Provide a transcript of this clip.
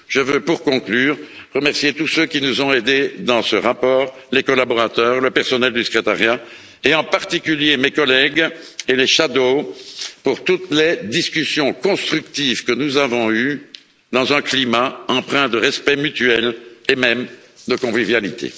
Je veux, pour conclure, remercier tous ceux qui nous ont aidés dans ce rapport les collaborateurs, le personnel du secrétariat et en particulier mes collègues et les rapporteurs fictifs, pour toutes les discussions constructives que nous avons eues dans un climat empreint de respect mutuel, et même de convivialité.